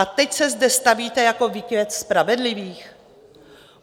A teď se zde stavíte jako výkvět spravedlivých?